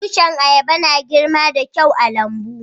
Tushin ayaba na girma da kyau a'lambu.